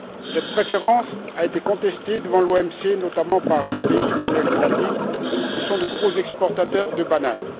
Cette préférence a été contestée devant l'OMC, notamment par les pays d'Amérique latine qui sont de gros exportateurs de bananes.